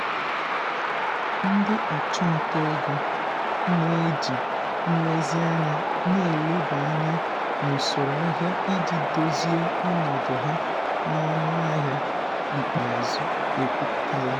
ndị ọchụnta ego na-eji nlezianya na-eleba anya n'usoro ahịa iji dozie ọnọdụ ha n'ọnụahịa ikpeazụ ekwpụtara.